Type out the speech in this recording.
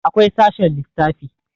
akwai sashen lissafi